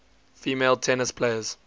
female tennis players